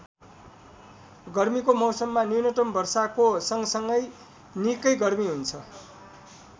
गर्मीको मौसममा न्यूनतम वर्षाको सँगसँगै निकै गर्मी हुन्छ।